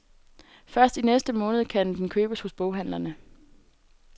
Først i næste måned kan den købes hos boghandlerne.